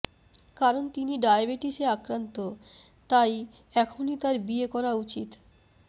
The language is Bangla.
কারণ তিনি ডায়াবেটিসে আক্রান্ত তাই এখনই তাঁর বিয়ে করা উচিত